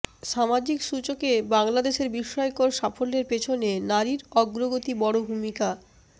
সামাজিক সূচকে বাংলাদেশের বিস্ময়কর সাফল্যের পেছনে নারীর অগ্রগতি বড় ভূমিকা